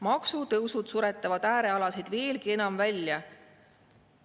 Maksutõusud suretavad äärealasid veelgi enam välja.